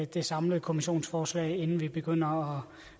det samlede kommissionsforslag inden vi begynder